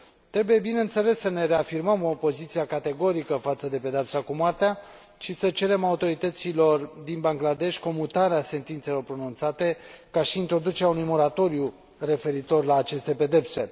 Trebuie, bineînțeles, să ne reafirmăm opoziția categorică față de pedeapsa cu moartea și să cerem autorităților din Bangladesh comutarea sentințelor pronunțate, ca și introducerea unui moratoriu referitor la aceste pedepse.